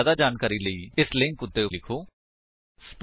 ਜਿਆਦਾ ਜਾਣਕਾਰੀ ਲਈ ਕੰਟੈਕਟ ਸਪੋਕਨ ਟਿਊਟੋਰੀਅਲ ਓਰਗ ਉੱਤੇ ਲਿਖੋ